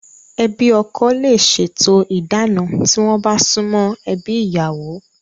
Ẹbi ọkọ le se to ìdáná, tí wọ́n bá sumo ebi ìyàwó